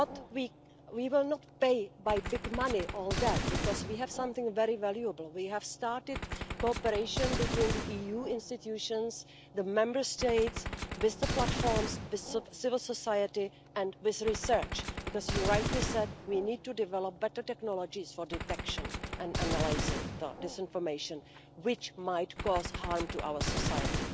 We will not pay for all that with big money, because we have something very valuable, we have started cooperation between the EU institutions, the Member States, with the platforms, with civil society and with research, because as you rightly said, we need to develop better technologies for detection and analysing disinformation which might cause harm to our society.